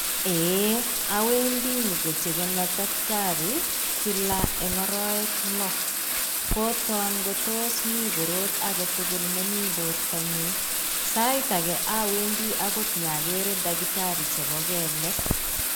Eeeh awendi pokochekena daktari kila eng araek loo, koton ngotos mi korot age tugul nemi bortonyuun. Sait age awendi akot akeere daktari chebo keelek.